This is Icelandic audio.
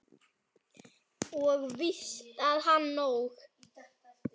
Og víst á hann nóg.